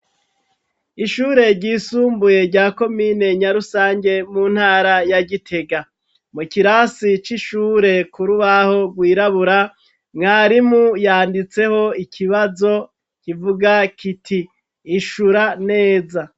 Ishure ryisumbuye rya komine Nyarusange mu ntara ya Gitega. Mu kirasi c'ishure, ku rubaho rwirabura, mwarimu yanditseho ikibazo kivuga kiti:" Ishura neza."